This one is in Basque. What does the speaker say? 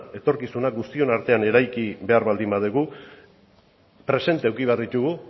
etorkizuna guztion artean eraiki behar baldin badugu presente eduki behar ditugu